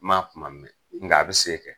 N ma kuma mɛn ,nga a bi se kɛ.